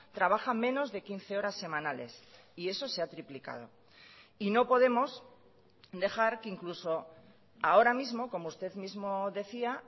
trabaja menos de quince horas semanales y eso se ha triplicado y no podemos dejar que incluso ahora mismo como usted mismo decía